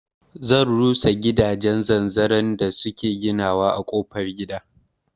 Zan rurrusa gidajen zanzaron da suke ginawa a kofar gida